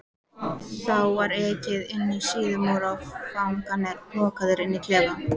Þá var ekið inní Síðumúla og fangarnir lokaðir inní klefa.